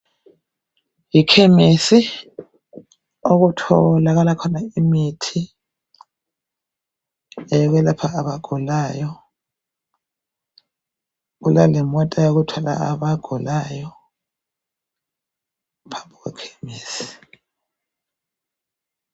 Ekhemesi okutholakala khona imithi eyokwelapha abagulayo kulemota yokuthwala abagulayo babuye ekhemesi.